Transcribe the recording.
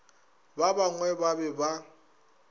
ba bangwe ba be ba